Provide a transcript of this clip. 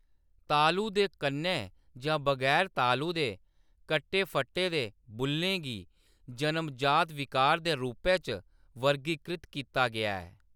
तालु दे कन्नै जां बगैर तालु दे कट्टे-फट्टे दे बु'ल्लें गी जनम-जात विकार दे रूपै च वर्गीकृत कीता गेआ ऐ।